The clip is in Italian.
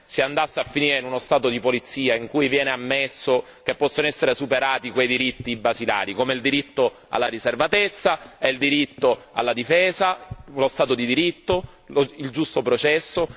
si andasse a finire in uno Stato di polizia in cui viene ammesso che possono essere superati quei diritti basilari, come il diritto alla riservatezza, il diritto alla difesa, lo Stato di diritto, il giusto processo.